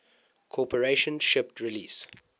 corporation shipped release